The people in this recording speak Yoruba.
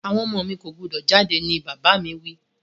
Àwon ọmọ mi ko gbúdọ̀ jáde ni bàbà mi wi